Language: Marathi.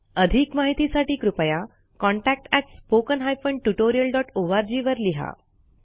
अधिक माहितीसाठी कृपया contactspoken tutorialorg वर लिहा